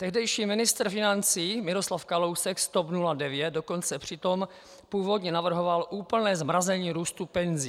Tehdejší ministr financí Miroslav Kalousek z TOP 09 dokonce přitom původně navrhoval úplné zmrazení růstu penzí.